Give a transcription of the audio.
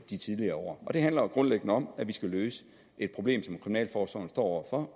de tidligere år og det handler jo grundlæggende om at vi skal løse et problem som kriminalforsorgen står over for